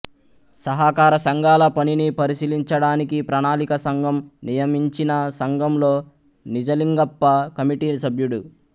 సహకార సంఘాల పనిని పరిశీలించడానికి ప్రణాళికా సంఘం నియమించినసంఘంలో నిజలింగప్ప కమిటీ సభ్యుడు